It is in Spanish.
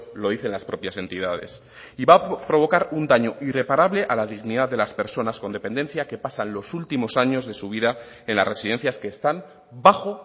lo dicen las propias entidades y va a provocar un daño irreparable a la dignidad de las personas con dependencia que pasan los últimos años de su vida en las residencias que están bajo